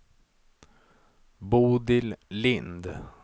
Bodil Lind